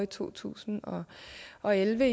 to tusind og elleve